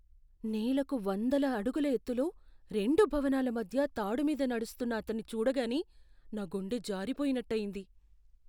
నేలకు వందల అడుగుల ఎత్తులో రెండు భవనాల మధ్య తాడు మీద నడుస్తున్న అతన్ని చూడగానే నా గుండె జారిపోయినట్టయింది.